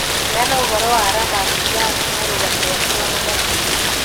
heana ũhoro wa ramanujan na rũgano rwake rwa mathabu